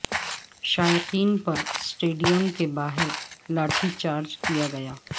شائقین پر سٹیڈیم کے باہر لاٹھی چارج کیا گیا